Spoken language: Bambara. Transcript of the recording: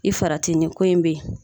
I farati ni ko in bɛ yen.